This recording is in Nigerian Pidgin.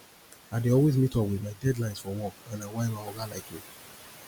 i dey always meet up with my deadlines for work and na why my oga like me